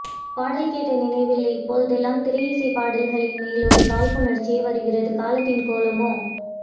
பாடல் கேட்டநினைவு இல்லை இப்போதெல்லாம் திரை இசைப்பாடல்களின் மேலொரு காழ்ப்பூணர்ச்சியே வருகிறது காலத்தின்கோலமோ